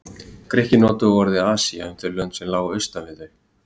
Grikkir notuðu orðið Asía um þau lönd sem lágu austan við þá.